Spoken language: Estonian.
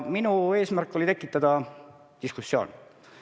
Minu eesmärk oli tekitada diskussioon.